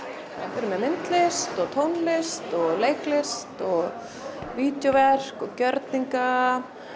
við erum með myndlist og tónlist og leiklist og og gjörninga